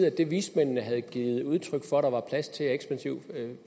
at det vismændene havde givet udtryk for der var plads til af ekspansiv